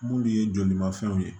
Munnu ye jolimafɛnw ye